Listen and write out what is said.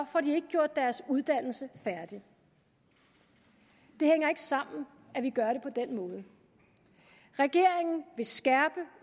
får de ikke gjort deres uddannelse færdig det hænger ikke sammen at vi gør det på den måde regeringen vil skærpe